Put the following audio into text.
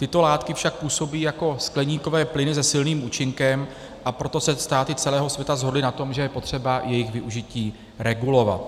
Tyto látky však působí jako skleníkové plyny se silným účinkem, a proto se státy celého světa shodly na tom, že je potřeba jejich využití regulovat.